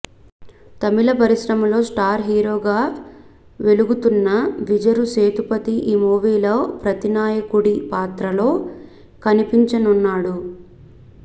తమిళ పరిశ్రమలో స్టార్ హీరోగా వెలుగుతున్న విజరు సేతుపతి ఈ మూవీలో ప్రతినాయకుడి పాత్రలో కనిపించనున్నాడు